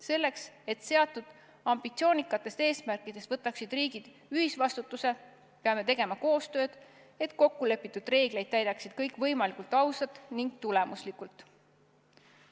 Selleks, et seatud ambitsioonikate eesmärkide saavutamise eest võtaksid riigid ühisvastutuse, peame tegema koostööd, et kokkulepitud reegleid täidaksid kõik võimalikult ausalt ning tulemuslikult.